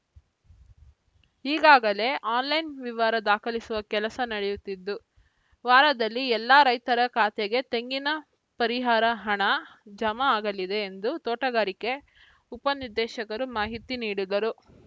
ಈಗಾಗಲೇ ಆನ್‌ಲೈನ್‌ ವಿವರ ದಾಖಲಿಸುವ ಕೆಲಸ ನಡೆಯುತ್ತಿದ್ದು ವಾರದಲ್ಲಿ ಎಲ್ಲ ರೈತರ ಖಾತೆಗೆ ತೆಂಗಿನ ಪರಿಹಾರ ಹಣ ಜಮಾ ಆಗಲಿದೆ ಎಂದು ತೋಟಗಾರಿಕೆ ಉಪನಿರ್ದೇಶಕರು ಮಾಹಿತಿ ನೀಡಿದರು